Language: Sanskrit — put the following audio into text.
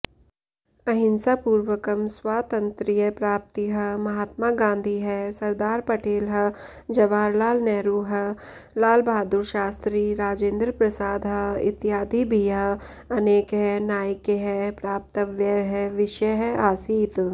अहिंसापूर्वकं स्वातन्त्र्यप्राप्तिः महात्मा गान्धिः सरदारपटेलः जवाहरलालनेहरुः लालबहादुरशास्त्री राजेन्द्रप्रसादः इत्यादिभिः अनेकैः नायकैः प्राप्तव्यः विषयः आसीत्